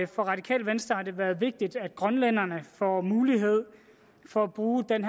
for radikale venstre har det været vigtigt at grønlænderne får mulighed for at bruge den